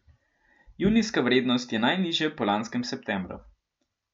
Junijska vrednost je najnižja po lanskem septembru.